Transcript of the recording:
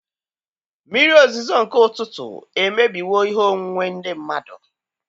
Mmiri ozuzo nke ụtụtụ emebiwo ihe onwunwe ndị mmadụ.